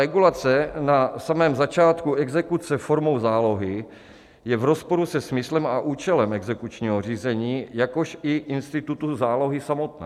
Regulace na samém začátku exekuce formou zálohy je v rozporu se smyslem a účelem exekučního řízení, jakož i institutu zálohy samotné.